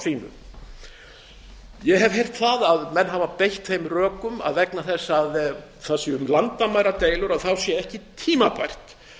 sínu ég hef heyrt það að menn hafa beitt þeim rökum að vegna þess að það sé um landamæradeilur sé ekki tímabært